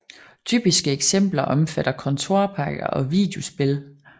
Typiske eksempler omfatter kontorpakker og videospil